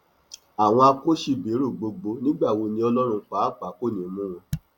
àwọn akọṣẹbẹrọ gbogbo nígbà wo ni ọlọrun pàápàá kò ní í mú wọn